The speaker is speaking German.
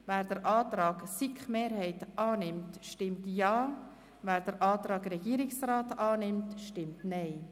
Wer den Antrag der SiK-Mehrheit unterstützt, stimmt Ja, wer den Antrag der Regierung unterstützt, stimmt Nein.